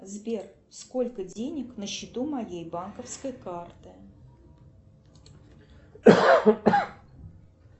сбер сколько денег на счету моей банковской карты